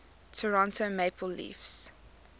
toronto maple leafs